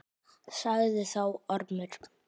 Sagði þá Ormur: